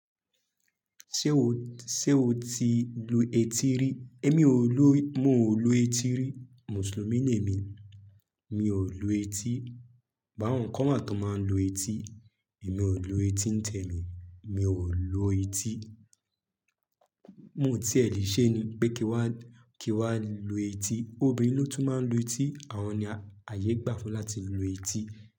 Ṣé o, ṣe o ti lu etí rí? Émi ò lu, mo ò lu etí rí. Mùsùlùmí ni èmi, mi ò lu etí. But áwọn kan wà tó máa ń lu etí, èmi ò lu etí ń tẹ mí, mi ò lu etí. Mo tiẹ̀ lè ṣe ni pé kí wa, kí wa lu etí. Obìnrin ló tún máa ń lu etí, àwọn ni ayé gbà fún láti lu etí.